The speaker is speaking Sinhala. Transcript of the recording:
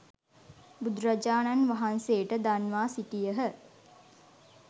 බුදුරජාණන් වහන්සේට දන්වා සිටියහ.